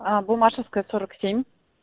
а буммашевская сорок семь